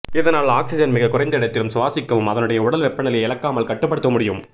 இதனால் ஒக்சிசன் மிக குறைந்த இடத்திலும் சுவாசிக்கவும் அதனுடைய உடல் வெப்பநிலையை இழக்காமல் கட்டுபடுத்தவும் முடியும்